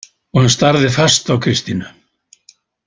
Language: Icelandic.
Og hann starði fast á Kristínu.